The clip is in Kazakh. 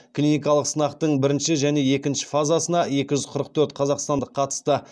клиникалық сынақтың бірінші және екінші фазасына екі жүз қырық төрт қазақстандық қатысты